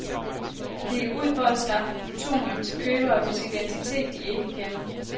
Det gik ud på at skaffe plutonium til købere, hvis identitet de ikke kender.